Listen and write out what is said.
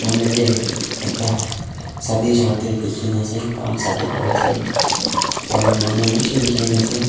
moi yatae ekta Sadi jaka tae dikhi na ase takhan sadi kuriase aro manu bishi dikhina ase.